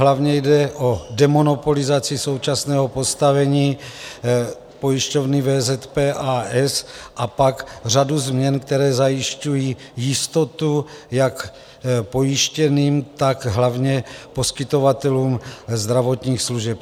Hlavně jde o demonopolizaci současného postavení pojišťovny VZP, a. s., a pak řadu změn, které zajišťují jistotu jak pojištěným, tak hlavně poskytovatelům zdravotních služeb.